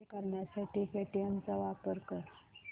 पे करण्यासाठी पेटीएम चा वापर कर